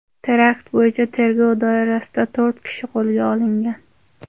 Terakt bo‘yicha tergov doirasida to‘rt kishi qo‘lga olingan.